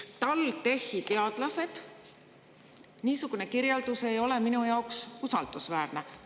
TalTechi teadlased – niisugune kirjeldus ei ole minu jaoks usaldusväärne.